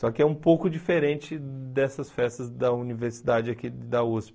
Só que é um pouco diferente dessas festas da universidade aqui da USP.